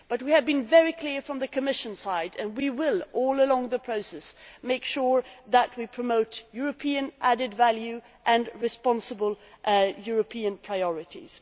But we have been very clear from the Commission side, and we will throughout the process make sure that we promote European added value and responsible European priorities.